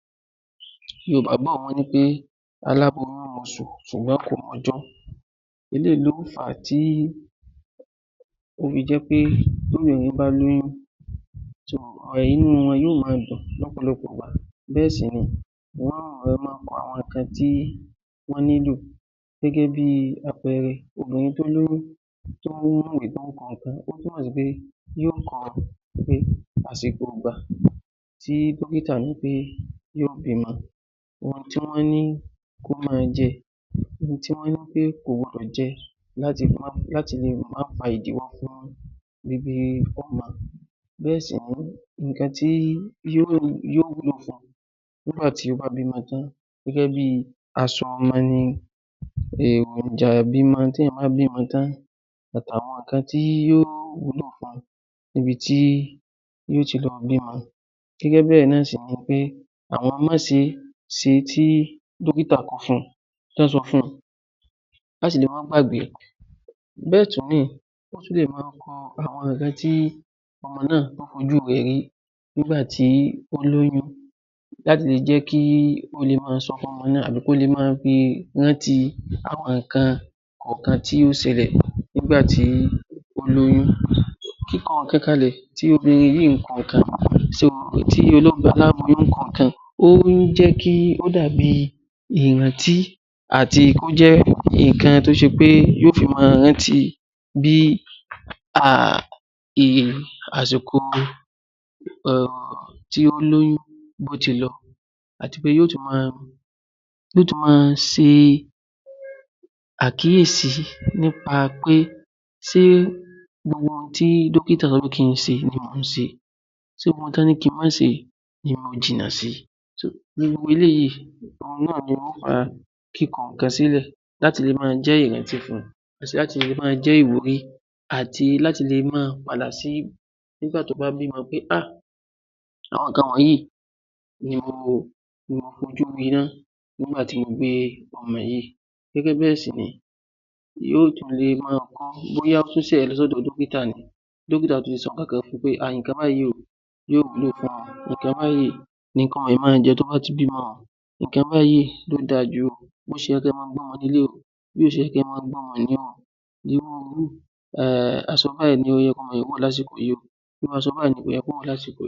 Ìgbàgbọ́ àwọn ènìyàn ni pé aláboyún moṣù ṣùgbọ́n kò mọ ọjọ́ eléyìí ló fà á tó fi jẹ́ pé tí ènìyàn bá ní oyún inú wọn yóò máa dùn lọ́pọ̀lọpọ̀ ìgbà yóò sì máa kọ àwọn nǹkan tí wọ́n nílò gẹ́gẹ́ bíi àpẹẹrẹ obìnrin tó lóyún yóò kọ àsìkò ìgbà tí dókítà sọ pé yóò bímọ, Àsìkò ìgbà tí dókítà sọ pé yóò bímọ, nǹkan tí wọ́n ní kó máa jẹ nǹkan tí wọ́n ní kó má jẹ láti le má fa ìdíwọ́ fún bíbí ọmọ bẹ̀rẹ̀ sì ni nǹkan tí yóò nílò tí ó bá bímọ tán gẹ́gẹ́ bíi aṣọ ọmọ ni àti àwọn nǹkan tí yóò wúlò fún wọn ni, ibi tí yóò ti lọ bímọ ni, gẹ́gẹ́ bíi àwọn máse tí dókítà kọ fún un láti le má gbàgbé bẹ́ẹ̀ sì ni ó tún lè máa kọ àwọn nǹkan tí ọmọ náà fojú rẹ rí nígbà tí ó lóyún láti jẹ́ kí ó máa sọ fún ọmọ náà tàbí kí ó le rántí àwọn nǹkan kọ̀ọ̀kan tí ó ṣẹlẹ̀ nígbà tí ó lóyún ìkọnǹkan kalẹ̀ tí obìnrin yìí ń kọ nǹkan tí aláboyún ń kọ nǹkan ó jẹ́ kí ó dàbí ìrántí àti ó jẹ́ nǹkan tí yóò fi máa rántí bí iye àsìkò tí ó lóyún bó ṣe lọ àti pé yóò ti máa ṣe àkíyèsí nípa pé ṣe gbogbo ohun tí dókítà ní kó ṣe ni ó máa ṣe, ṣé gbogbo ohun tí ó ní kó má ṣe ni ó máa jìnà sí gbogbo eléyìí náà ló fa kíkọ nǹkan sílẹ̀ láti le máa jẹ́ ìrántí fún un láti le máa jẹ́ ìwúrí àti láti le máa pa àlà sí I nígbà tó bá bímọ pé àwọn nǹkan wọ̀nyí ni mo fojú rí nígbà tí mo bí ọmọ yìí, gẹ́gẹ́ bẹ́ẹ̀ sì ni dókítà yóò sọ nǹkan kan fún un pé nǹkan tí ò gbọdọ̀ máa jẹ tó bá bímọ, nǹkan báyìí ló dáa jù bí wọ́n ṣe máa ń gbọ́ ọ leléyìí, aṣọ báyìí ló yẹ kó wọ̀ lásìkò yìí óò, aṣọ báyìí ni kò yẹ kó wọ̀ lásìkò yìí. ‎